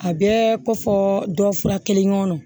A bɛɛ kɔfɛ dɔ fura kelen ŋɔnɔ